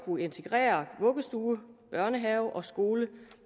integrere vuggestue børnehave og skole